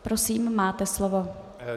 Prosím, máte slovo.